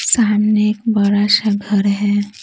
सामने एक बड़ा सा घर है।